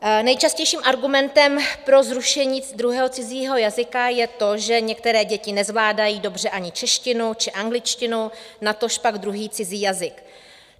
Nejčastějším argumentem pro zrušení druhého cizího jazyka je to, že některé děti nezvládají dobře ani češtinu či angličtinu, natož pak druhý cizí jazyk.